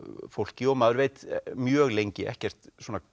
fólki og maður veit mjög lengi ekkert